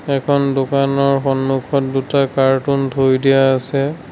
এখন দোকানৰ সন্মুখত দুটা কাৰ্টুন থৈ দিয়া আছে।